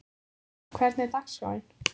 Kara, hvernig er dagskráin?